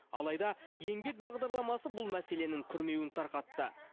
алайда еңбек бағдарламасы бұл мәселенің күрмеуін тарқатты